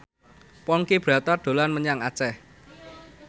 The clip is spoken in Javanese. Ponky Brata dolan menyang Aceh